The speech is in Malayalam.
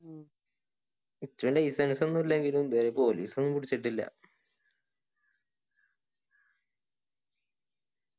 ഉം licence ഒന്നും ഇല്ലെങ്കിലും police ഒന്നും പിടിച്ചിട്ടില്ല